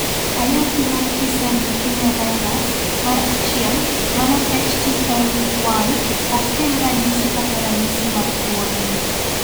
AYAKI mar T sel leukemia virus, mar 1 (HTLV 1) ok kel ranyisi kata ranyisi mag tuono.